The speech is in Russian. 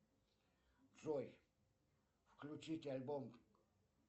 джой включить альбом